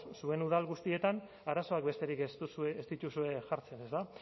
zuen udal guztietan arazoak besterik ez dituzue jartzen ezta